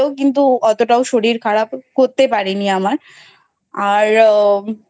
কিন্তু অতটাও শরীর খারাপ করতে পারে নি আমার আর